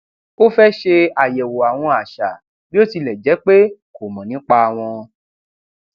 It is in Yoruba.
ó fẹ ṣe àyẹwò àwọn àṣà bí ó tilẹ jé pé kò mọ nípa wọn